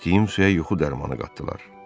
İçdiyim suya yuxu dərmanı qatdılar.